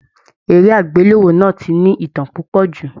Eré agbelewo náà tí ní ìtàn púpọ jù.